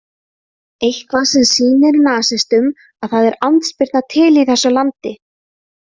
Eitthvað sem sýnir nasistunum að það er andspyrna til í þessu landi.